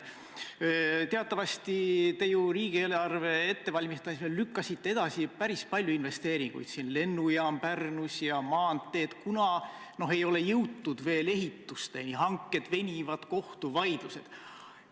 Teatavasti te riigieelarve ettevalmistamisel lükkasite edasi päris palju investeeringuid: lennujaam Pärnus ja maanteed, kuna ei ole veel jõutud ehitusteni, hanked venivad, on kohtuvaidlused.